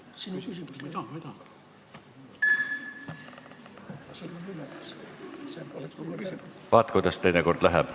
Vaat, kuidas teinekord läheb.